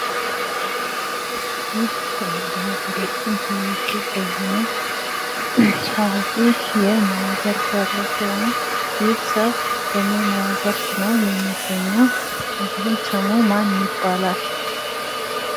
ይህ በሀገራችን ታዋቂ ከሆነ ታዋቂ የሙያ ዘርፍ ያለው ሰው ነው። ይህ ሰው በምን ሙያ ዘርፍ ነው የሚገኘው? እንዲሁም ስሙ ማን ይባላል?